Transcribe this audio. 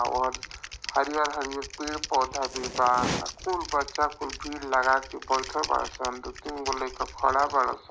और हरीयर-हरीयर पेड़-पौधा भी बा। कुल बच्चा कुल भीड़ लगाके बैठल बाड़ा सन। दु-तीन गो लाइका खड़ा बाड़ा सन।